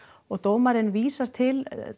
og dómarinn vísar til